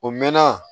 O mɛnna